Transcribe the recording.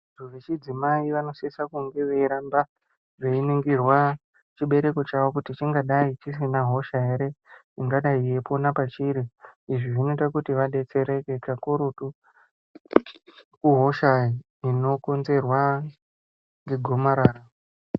Vanthu vechidzimai vanosisa kunge veiramba veiningirwa chibereko chavo kuti chingadai chisina hosha ere ingai yeipona pachiri izvi zvinoita kuti vadetsereke kakurutu hosha inokonzerwa ngegomarara.